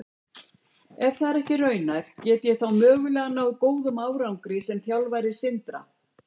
Ef það er ekki raunhæft, get ég þá mögulega náð góðum árangri sem þjálfari Sindra?